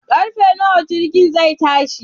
Karfe nawa jirginku zai tashi?